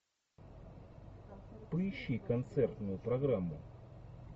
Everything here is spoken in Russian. поищи концертную программу